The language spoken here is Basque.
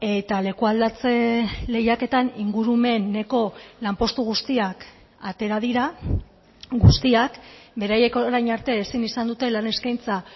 eta leku aldatze lehiaketan ingurumeneko lanpostu guztiak atera dira guztiak beraiek orain arte ezin izan dute lan eskaintza